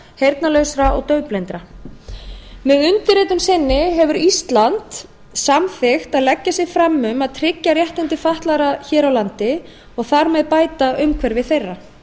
heyrnarlausra og daufblindra með undirritun sinni hefur ísland samþykkt að leggja sig fram um að tryggja réttindi fatlaðra hér á landi og þar með bæta umhverfi þeirra